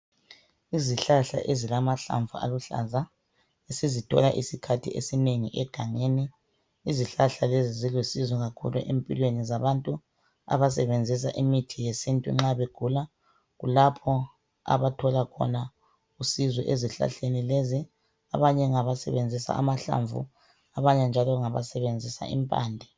Izihlahla ezilamahlamvu aluhlaza sizithola isikhathi esinengi egangeni. Izihlahla lezi zilusizo kakhulu empilweni zabantu abasebenzisa imithi yesintu nxa begula kulapha abathola khona usizo ezihlahleni lezi abanye ngabasebenzisa amahlamvu abanye njalo ngabasebenzisa impande.